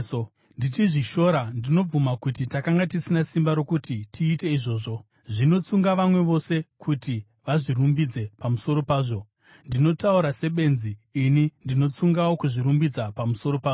Ndichizvishora ndinobvuma kuti takanga tisina simba rokuti tiite izvozvo. Zvinotsunga vamwe vose kuti vazvirumbidze pamusoro pazvo, ndinotaura sebenzi, ini ndinotsungawo kuzvirumbidza pamusoro pazvo.